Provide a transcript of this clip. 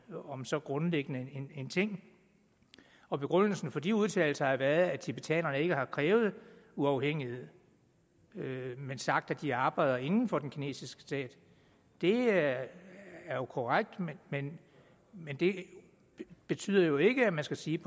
om så grundlæggende en ting og begrundelsen for de udtalelser har været at tibetanerne ikke har krævet uafhængighed men sagt at de arbejder inden for den kinesiske stat det er korrekt men men det betyder jo ikke at man skal sige